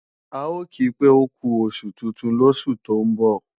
A ò ki pé ókú oṣù tuntun lósù tó ń bọ̀